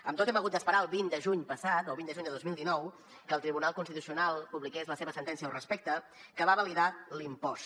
amb tot hem hagut d’esperar al vint de juny passat al vint de juny de dos mil dinou que el tribunal constitucional publiqués la seva sentència al respecte que va validar l’impost